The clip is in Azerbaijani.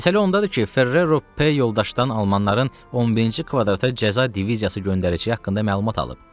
Məsələ ondadır ki, Ferrero P yoldaşdan almanların 11-ci kvadrata cəza diviziyası göndərəcəyi haqqında məlumat alıb.